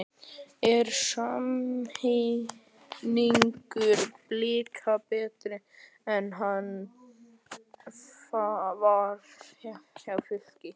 Er samningur Blika betri en hann var hjá Fylki?